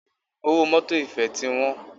Owó mọ́tọ̀ ìfẹ́ ti wọ́n.